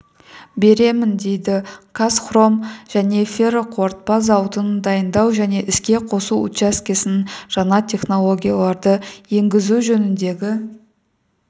беремін дейді қазхром жаңа ферроқорытпа зауытының дайындау және іске қосу учаскесінің жаңа технологияларды енгізу жөніндегі